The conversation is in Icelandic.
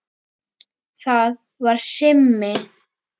Það var Simmi.